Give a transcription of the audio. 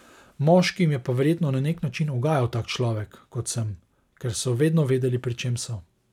Moškim je pa verjetno na nek način ugajal tak človek, kot sem, ker so vedno vedeli, pri čem so.